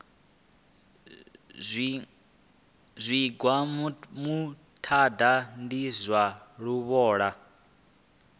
zwigwa muṱaḓa ndi zwa luvhola